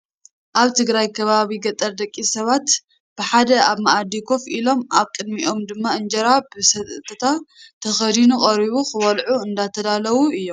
ኣብ ትግራይ ከባቢ ገጠር ደቂ ሰባት ብሓደ ኣብ ማኣዲ ኮፍ ኢሎም ኣብ ቅድሚኦም ድማ እንጀራ ብሰተታ ተከዲኑ ቀሪቡ ክበልዑ እንዳተዳለዉ እዮም።